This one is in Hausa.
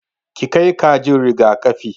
Ki kai kajin riga-kafi!